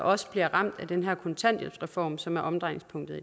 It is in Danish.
også bliver ramt af den her kontanthjælpsreform som er omdrejningspunktet